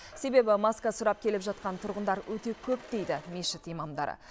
себебі маска сұрап келіп жатқан тұрғындар өте көп дейді мешіт имамдары